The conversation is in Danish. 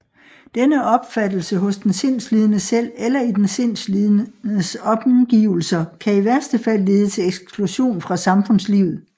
Denne opfattelse hos den sindslidende selv eller i den sindslidendes omgivelser kan i værste fald lede til eksklusion fra samfundslivet